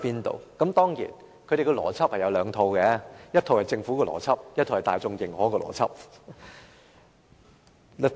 當然，他們有兩套邏輯：一套是政府的邏輯，一套是大眾認可的邏輯。